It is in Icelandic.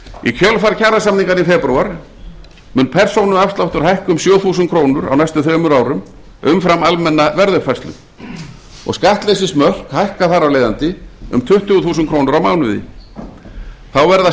í kjölfar kjarasamninganna í febrúar mun persónuafsláttur hækka um sjö þúsund krónur á næstu þremur árum umfram almenna verðuppfærslu og skattleysismörk hækka þar af leiðandi um tuttugu þúsund krónur á mánuði þá verða